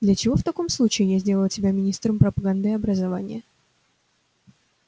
для чего в таком случае я сделала тебя министром пропаганды и образования